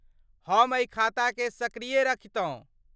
हम एहि खाताकेँ सक्रिया रखितौं।